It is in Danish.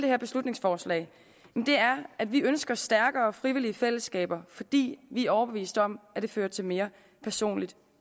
her beslutningsforslag er at vi ønsker stærkere frivillige fællesskaber fordi vi er overbevist om at det fører til mere personligt